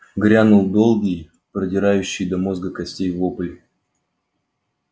грянул долгий продирающий до мозга костей вопль